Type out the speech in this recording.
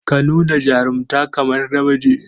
Ka nuna jarunta kamar namiji.